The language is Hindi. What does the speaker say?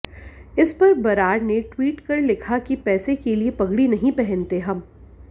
इसपर बरार ने ट्वीट कर लिखा कि पैसे के लिए पगड़ी नहीं पहनते हम